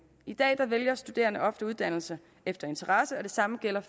i dag vælger studerende ofte uddannelse efter interesse og det samme gælder